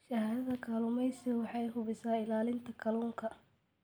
Shahaadada kalluumeysiga waxay hubisaa ilaalinta kalluunka.